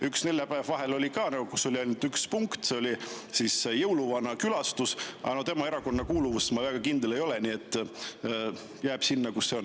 Üks detsembri neljapäev oli vahepeal veel selline, et oli ainult üks punkt, see oli jõuluvana külastus, aga no tema erakondlikus kuuluvuses ma väga kindel ei ole, nii et see las jääda sinna, kus see on.